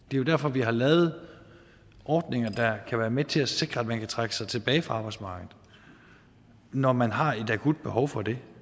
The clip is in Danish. det er derfor at vi har lavet ordninger der kan være med til at sikre at man kan trække sig tilbage fra arbejdsmarkedet når man har et akut behov for det